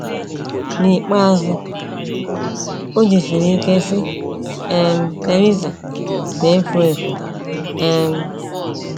N’ikpeazụ, o jisiri ike sị: “ um Theresa na - efu efu! ” um